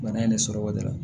Bana in ne sɔrɔ o de la